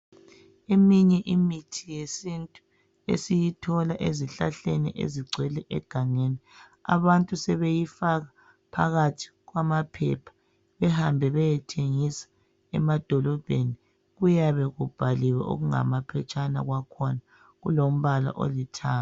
Eminye imithi yesintu esiyithola ezihlahleni ezigcwele egangeni, abantu sebeyifaka phakathi kwamaphepha, behambe beyethengisa emadolobheni, kuyabe kubhaliwe okungamaphetshana kwakhona kulombala olithanga.